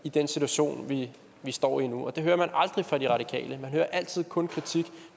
i den situation vi står i nu og det hører man aldrig fra de radikale man hører altid kun kritik